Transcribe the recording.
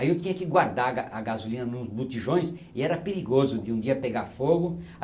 aí eu tinha que guardar a ga a gasolina nos butijões e era perigoso de um dia pegar fogo.